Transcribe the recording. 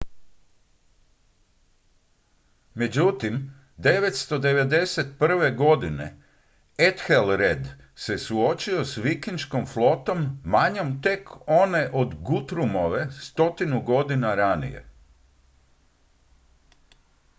međutim 991. godine ethelred se suočio s vikinškom flotom manjom tek od one guthrumove stotinu godina ranije